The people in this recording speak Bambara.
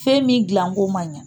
Fɛn min dilanko man ɲɛ